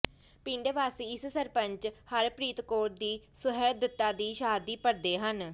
ਪਿੰਡ ਵਾਸੀ ਇਸ ਸਰਪੰਚ ਹਰਪ੍ਰੀਤ ਕੌਰ ਦੀ ਸੁਹਿਰਦਤਾ ਦੀ ਸ਼ਾਹਦੀ ਭਰਦੇ ਹਨ